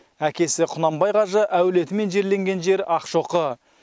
әкесі құнанбай қажы әулетімен жерленген жер ақшоқы